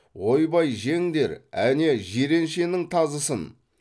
ойбай жеңдер әне жиреншенің тазысын